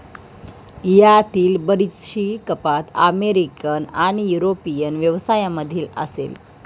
यातील बरीचशी कपात अमेरिकन आणि युरोपियन व्यवसायामधील असेल.